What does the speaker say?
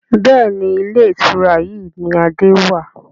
Bẹ́ẹ̀ni, Ilé ìtura yìí ni Adé wàá.